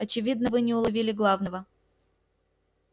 очевидно вы не уловили главного